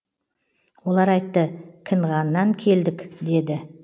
олар айтты кінғаннан келдік деді